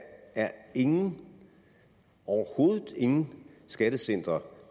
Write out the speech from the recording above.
er ingen overhovedet ingen skattecentre